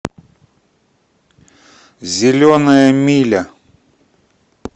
зеленая миля